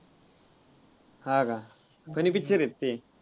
हा का? funny picture आहेत ते.